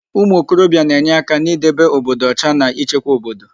Ụmụokorobia na-enye aka n'idebe obodo ọcha na ịchekwa obodo.